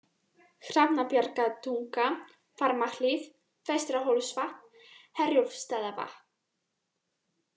Hrafnabjargatunga, Varmahlíð, Vestra-Hólsvatn, Herjólfsstaðavatn